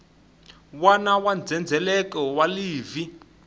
wana wa ndzhendzheleko wa livhi